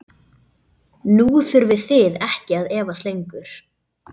Nú þurfið þið ekki að efast lengur.